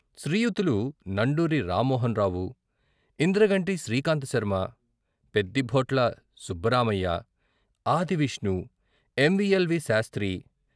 శ్రీయుతులు Nanduri Ramamohanarao, Indraganti Srikantha Sharma, Peddibhotla Subbaramayya, Adi Vishnu, MVL, V. Sastry.